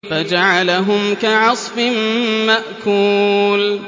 فَجَعَلَهُمْ كَعَصْفٍ مَّأْكُولٍ